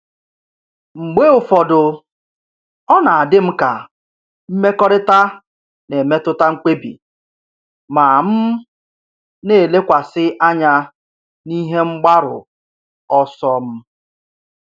Mgbe ụfọdụ, ọ na-adị m ka mmekọrịta na-emetụta mkpebi, ma m na-elekwasị anya n'ihe mgbaru ọsọ m.